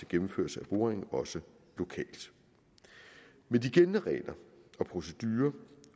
gennemførelse af boringen også lokalt med de gældende regler og procedurer